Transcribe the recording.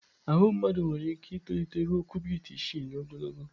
Ahụ mmadụ nwere ike itolite ruo kubit isii n'ogologo.